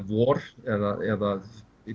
vor eða